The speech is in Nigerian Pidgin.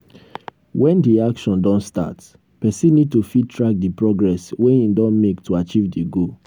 when di action don start person need to fit track di progress wey im don make to achieve di goal